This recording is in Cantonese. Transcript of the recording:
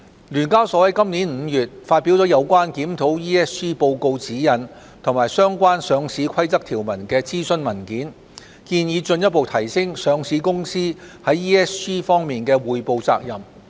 聯交所在今年5月發表了有關檢討《ESG 報告指引》及相關《上市規則》條文的諮詢文件，建議進一步提升上市公司在 ESG 方面的匯報責任。